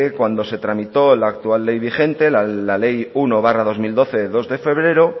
cuando se tramitó el actual ley vigente la ley uno barra dos mil doce de dos de febrero